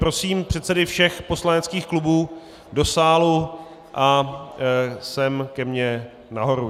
Prosím předsedy všech poslaneckých klubů do sálu a sem ke mně nahoru.